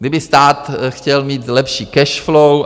Kdyby stát chtěl mít lepší cash flow...